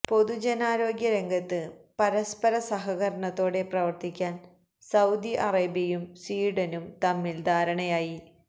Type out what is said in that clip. പൊതുജനാരോഗ്യ രംഗത്ത് പരസ്പര സഹകരണത്തോടെ പ്രവർത്തിക്കാൻ സൌദി അറേബ്യയും സ്വീഡനും തമ്മിൽ ധാരണയായി